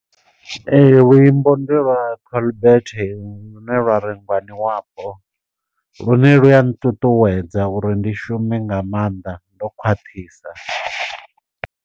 Ee luimbo ndi lwa Colbert lune lwa ri ngwani wapo. Lune lu ya nṱuṱuwedza uri ndi shume nga maanḓa ndo khwaṱhisa.